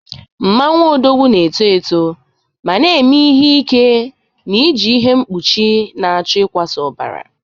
Mmanwu Odogwu na-eto eto ma na-eme ihe ike na-eji ihe mkpuchi na-achọ ịkwasa ọbara